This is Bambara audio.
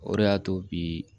O de y'a to bi